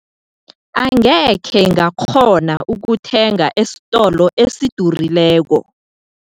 Angekhe ngakghona ukuthenga esitolo esidurileko.